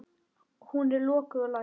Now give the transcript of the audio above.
Hún er lokuð og læst.